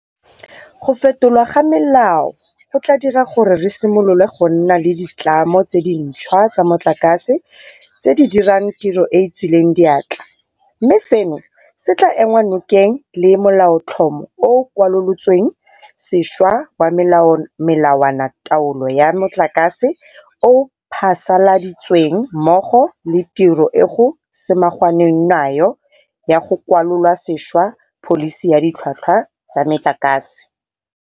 Go fetolwa ga melao go tla dira gore re simolole go nna le ditlamo tse dintšhwa tsa motlakase tse di dirang tiro e e tswileng diatla, mme seno se tla enngwa nokeng le ke Molaotlhomo o o Kwalolotsweng Sešwa wa Melawanataolo ya Metlakase o o phasaladitsweng mmogo le tiro e go samaganweng nayo ya go kwalola sešwa Pholisi ya Ditlhwatlhwa tsa Metlakase.